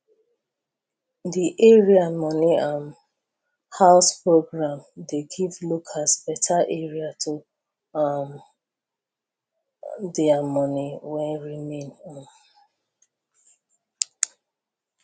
the area money um house program dey give locals better area to hide um their money wen remain um